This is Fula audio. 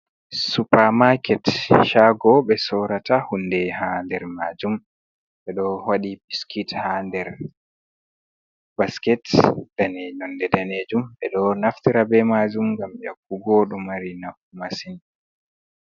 Supa maaket shago ɓe soorata hunde ha nder majum, ɓe ɗo waɗi biskit ha nder basket dane nonde danejum, ɓe ɗo naftira be majum ngam y'akku go ɗo mari nafu masin.